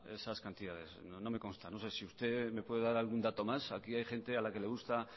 esas cantidades no me consta no sé si usted me puede dar algún dato más aquí hay gente a la que le gusta